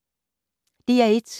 DR1